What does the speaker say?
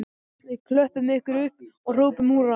Við klöppum ykkur upp og hrópum húrra